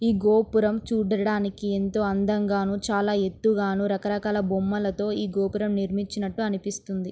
ఈ గోపురము చూడడానికీ ఎంతో అందంగాను చాలా ఎత్తుగాను రకరకాల బొమ్మలతోనూ ఈ గోపురము నిర్మచినట్టు అనిపిస్తుంది.